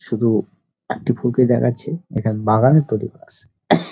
শুধু একটি ফুলকে দেখাচ্ছে এখানে বাগানে তৈরী বাস